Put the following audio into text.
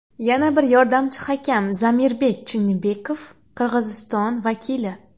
Yana bir yordamchi hakam Zamirbek Chinnibekov Qirg‘iziston vakili.